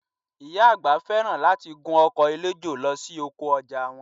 Ìyá àgbà fẹ́ràn láti gun ọkọ̀ eléjò lọ sí oko ọjà wọn